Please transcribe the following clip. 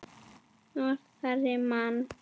Norðrið man.